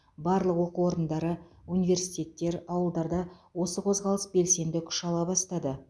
барлық оқу орындары университеттер ауылдарда осы қозғалыс белсенді күш ала бастады